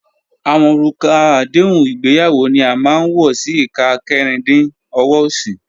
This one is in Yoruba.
Awọn orúkà àdéhùn ìgbéyàwó ni a máa n wọ sí ìkà kẹ́rìndí ọ̀wọ̀ osì.